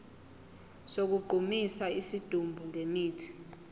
sokugqumisa isidumbu ngemithi